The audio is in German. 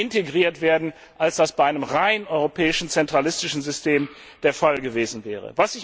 integriert werden, als das bei einem rein europäischen zentralistischen System der Fall gewesen wäre.